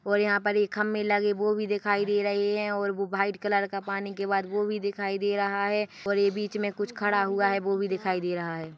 और यहाँ पर एक खंभे लगे वो भी दिखाई दे रहे है और वो व्हाइट कलर का पानी के बाद वो भी दिखाई दे रहा है और ये बीच मे कुछ खड़ा हुआ है वो भी दिखाई दे रहा है।